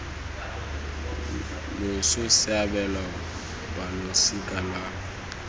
loso se abelwa balosika lwa